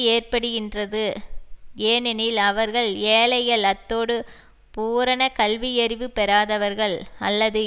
ஏற்படுகின்றது ஏனெனில் அவர்கள் ஏழைகள் அத்தோடு பூரண கல்வியறிவு பெறாதவர்கள் அல்லது